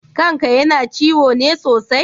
Kan ka yana ciwo ne sosai?